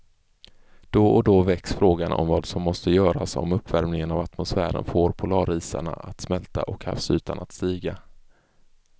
Då och då väcks frågan om vad som måste göras om uppvärmingen av atmosfären får polarisarna att smälta och havsytan att stiga.